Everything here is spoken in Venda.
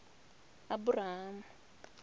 aburahamu